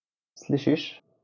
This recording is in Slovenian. Slišiš?